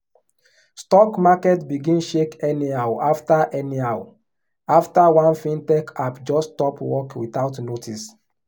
stock market begin shake anyhow after anyhow after one fintech app just stop work without notice.